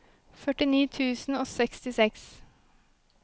førtini tusen og sekstiseks